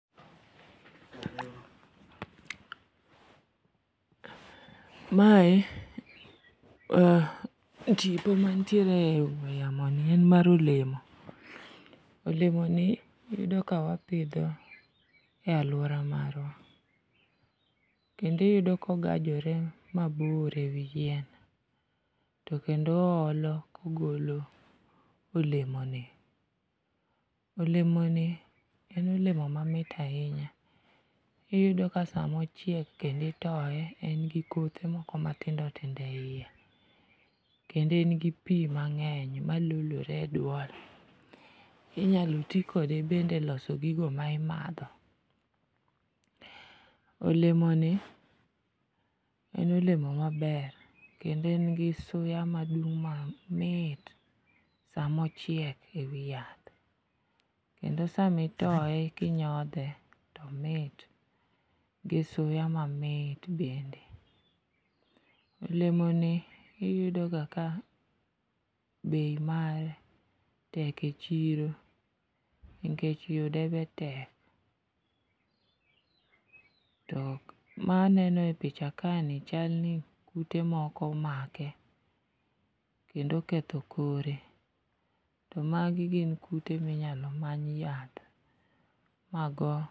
Mae e tipo mantiere e ong'we yamoni en mar olemo, olemoni iyudo ka wapidhe e alwora marwa, kendo oyudo kogajore mabor e wi yien, to kendo oolo kogolo olemoni.